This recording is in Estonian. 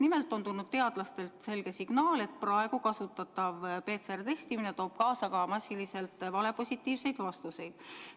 Nimelt on tulnud teadlastelt selge signaal, et praegu kasutatav PCR-testimine toob kaasa massiliselt valepositiivseid vastuseid.